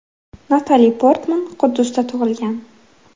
Natali Portman Quddusda tug‘ilgan.